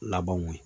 Labanw ye